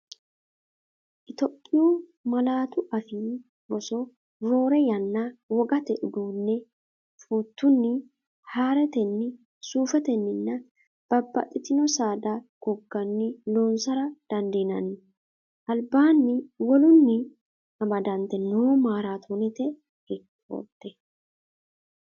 Itophiyu Malaatu Afii Roso Roore yanna wogate uduunne fuuttunni, haaretenni, suufetenninna bab baxxitino saada gogganni loonsara dandiinanni, albaanni wolunni amadante noo maaraatoonete reekoorde?